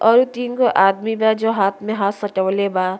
और उ तीन गो आदमी बा जो हाथ में हाथ सटावले बा।